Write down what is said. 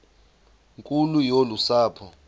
nkulu yolu sapho